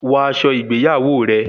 Wọ aṣọ ìgbéyàwó rẹ